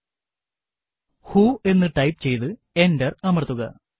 who എന്ന് type ചെയ്തു enter അമർത്തുക